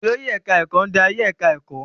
Olórí ẹ̀káá-ẹ̀kọ́ ń darí ẹ̀ká ẹ̀kọ́